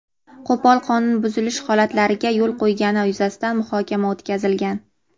qo‘pol qonun buzilishi holatlariga yo‘l qo‘ygani yuzasidan muhokama o‘tkazilgan.